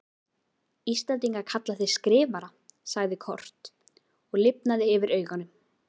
Íslendingar kalla þig Skrifara, sagði Kort og lifnaði yfir augunum.